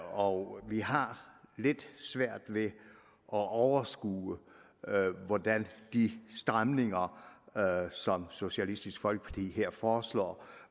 og vi har lidt svært ved at overskue hvordan de stramninger som socialistisk folkeparti her foreslår